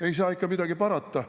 Ei saa midagi parata …